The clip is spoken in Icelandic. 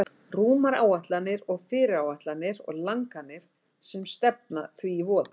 Rúmar áætlanir og fyrirætlanir og langanir sem stefna því í voða.